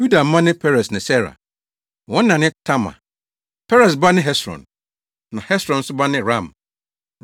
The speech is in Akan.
Yuda mma ne Peres ne Sera. Wɔn na ne Tamar. Peres ba ne Hesron na Hesron nso ba ne Ram.